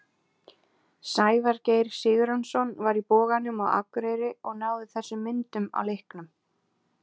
Sævar Geir Sigurjónsson var í Boganum á Akureyri og náði þessum myndum á leiknum.